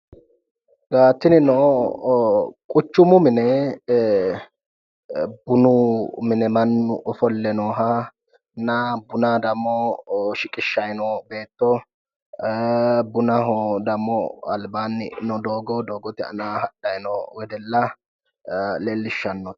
Tinino quchumu mine bunu mine mannu ofolle noohanna buna dammo shiqishshayi noo beetto bunaho dammo albaanni noo doogo doogote aana hadhayi noo wedella leellishshanno.